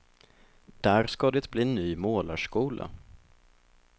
Där ska det bli ny målarskola.